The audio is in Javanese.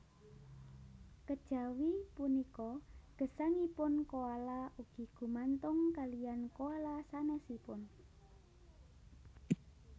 Kejawi punika gesangipun koala ugi gumantung kaliyan koala sanésipun